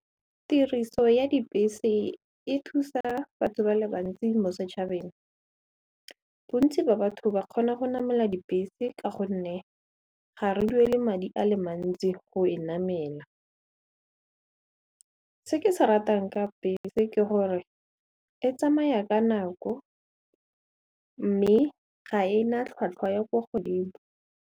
Tiriso ya dibese e thusa batho ba le bantsi mo setšhabeng, bontsi ba batho ba kgona go namela dibese ka gonne ga re duele madi a le mantsi go e namela. Se ke se ratang ka bese ke gore e tsamaya ka nako mme ga e na tlhwatlhwa ya kwa godimo.